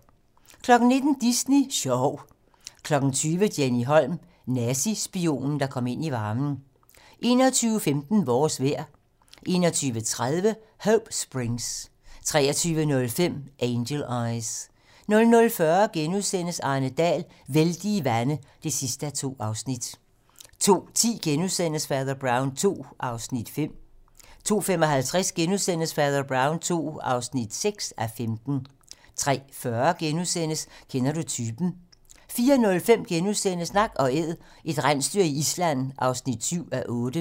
19:00: Disney Sjov 20:00: Jenny Holm - Nazispionen der kom ind i varmen 21:15: Vores vejr 21:30: Hope Springs 23:05: Angel Eyes 00:40: Arne Dahl: Vældige vande (2:2)* 02:10: Fader Brown II (5:15)* 02:55: Fader Brown II (6:15)* 03:40: Kender du typen? * 04:05: Nak & Æd - et rensdyr i Island (7:8)*